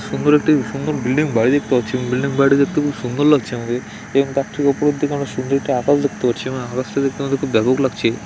সুন্দর একটি সুন্দর বিল্ডিং বাড়ি দেখতে পাচ্ছি | বিল্ডিং বাড়িটি দেখতে খুব সুন্দর লাগছে আমাকে | এবং তার ঠিক ওপরের দিকে আমরা সুন্দর একটি আকাশ দেখতে পাচ্ছি |এবং আকাশ টা দেখতে আমার খুব ব্যাপক লাগছে |